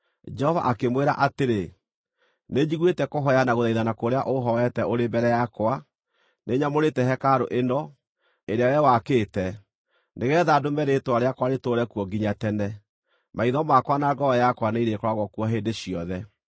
Jehova akĩmwĩra atĩrĩ: “Nĩnjiguĩte kũhooya na gũthaithana kũrĩa ũhooete ũrĩ mbere yakwa; nĩnyamũrĩte hekarũ ĩno, ĩrĩa wee wakĩte, nĩgeetha ndũme Rĩĩtwa rĩakwa rĩtũũre kuo nginya tene. Maitho makwa na ngoro yakwa nĩirĩkoragwo kuo hĩndĩ ciothe.